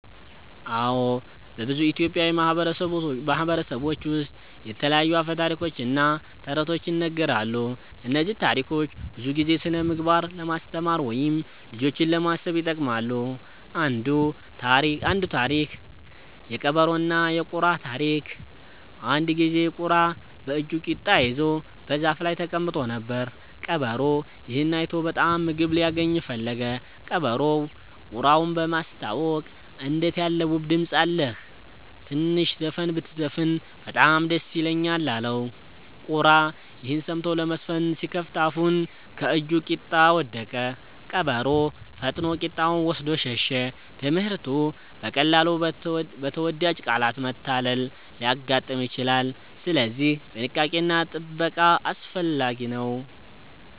አዎ፣ በብዙ ኢትዮጵያዊ ማህበረሰቦች ውስጥ የተለያዩ አፈ ታሪኮች እና ተረቶች ይነገራሉ። እነዚህ ታሪኮች ብዙ ጊዜ ስነ-ምግባር ለማስተማር ወይም ልጆችን ለማሳሰብ ይጠቅማሉ። አንዱ ታሪክ (የቀበሮና የቁራ ታሪክ) አንድ ጊዜ ቁራ በእጁ ቂጣ ይዞ በዛፍ ላይ ተቀምጦ ነበር። ቀበሮ ይህን አይቶ በጣም ምግብ ሊያገኝ ፈለገ። ቀበሮው ቁራውን በማስታወቅ “እንዴት ያለ ውብ ድምፅ አለህ! ትንሽ ዘፈን ብትዘፍን በጣም ደስ ይለኛል” አለው። ቁራ ይህን ሰምቶ ለመዘፈን ሲከፍት አፉን ከእጁ ቂጣ ወደቀ። ቀበሮ ፈጥኖ ቂጣውን ወስዶ ሸሸ። ትምህርቱ: በቀላሉ በተወዳጅ ቃላት መታለል ሊያጋጥም ይችላል፣ ስለዚህ ጥንቃቄ እና ጥበቃ አስፈላጊ ነው።